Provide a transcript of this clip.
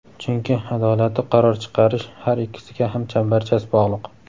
Chunki adolatli qaror chiqarish har ikkisiga ham chambarchas bog‘liq.